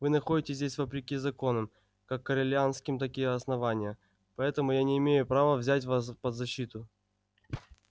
вы находитесь здесь вопреки законам как корелианским так и основания поэтому я не имею права взять вас под свою защиту